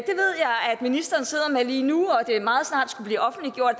ministeren sidder med lige nu og at det meget snart skulle blive offentliggjort